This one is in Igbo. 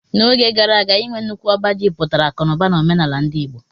N'oge gara aga, inwe nnukwu ọba ji pụtara akụ na ụba n'omenala ndi Igbo